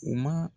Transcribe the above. U ma